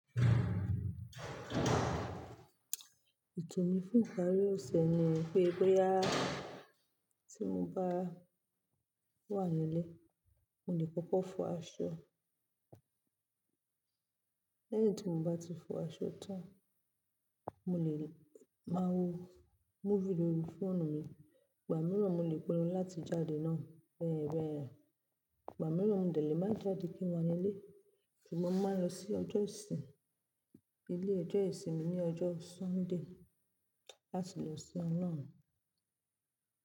Ètò mi fún ìparí ọ̀sẹ̀ nipe bóyá, tí mo bá wà nílé, mo lè kọ́kọ́ fọ aṣọ. Lẹ́yìn tí mo bá ti fọ aṣọ tán, mo lè máa wo movie lórí fóònù mi. Ìgbà mìíràn mo lè pinnu láti jáde náà bẹ́ẹ̀ bẹ́ẹ̀rẹ́. Ìgbà mìíràn mo lè má jáde kí n wà nílé, ṣùgbọ́n mo máa ń lọ sí ọjọ́ ìsìn, ilé ọjọ́ ìsinmi ní ọjọ́ Sunday láti lọ siná náà.